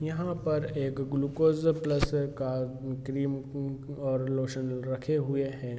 यहाँ पर एक ग्लूकोज प्लस का उ क्रीम उ और लोशन रखे हुए हैं।